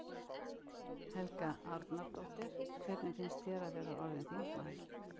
Helga Arnardóttir: Hvernig finnst þér að vera orðinn þingmaður?